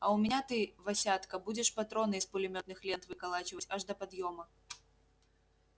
а у меня ты васятка будешь патроны из пулемётных лент выколачивать аж до подъёма